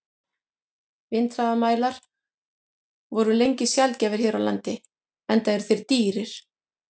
Vindhraðamælar voru lengi sjaldgæfir hér á landi, enda eru þeir dýrir.